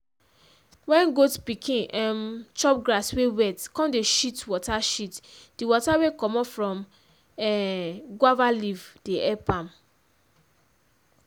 wen goat pikin um chop grass wey wet come dey shit water shit di water wey commot from um guave leaf dey epp am.